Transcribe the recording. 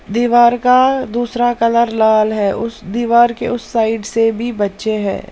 दीवार का दूसरा कलर लाल है उस दीवार के उस साइड से भी बच्चे हैं।